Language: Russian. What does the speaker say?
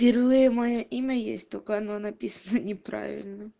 впервые моё имя есть только оно написано неправильно